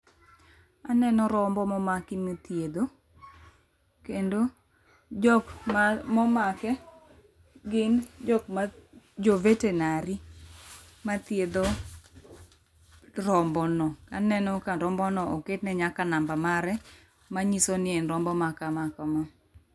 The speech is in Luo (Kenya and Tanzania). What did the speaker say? Aneno rombo momaki mithiedho. Kendo jok ma momake gin jok ma jo vetenary mathiedho rombono. Aneno ka rombono oketne nyaka namba mare manyisoni en rombo makama kama.